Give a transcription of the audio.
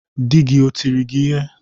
Dị gị o tịrị gị ịhe?